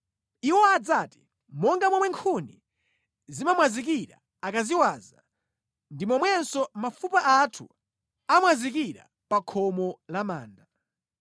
Iwo adzati, “Monga momwe nkhuni zimamwazikira akaziwaza, ndi momwenso mafupa athu amwazikira pa khomo la manda.”